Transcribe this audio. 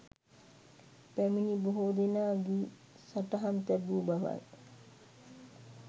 පැමිණි බොහෝ දෙනා ගී සටහන් තැබූ බවයි.